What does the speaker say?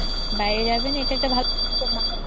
বাইরে যাবেন এটা একটা ভালো decision বাংলাদেশে